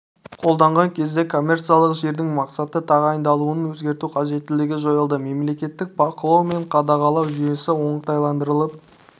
қолданған кезде коммерциялық жердің мақсатты тағайындалуын өзгерту қажеттілігі жойылды мемлекеттік бақылау мен қадағалау жүйесі оңтайландырылып